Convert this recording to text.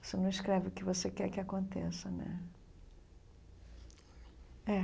Você não escreve o que você quer que aconteça, né? É